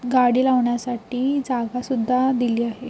गाडी लावण्यासाठी जागा सुद्धा दिली आहे.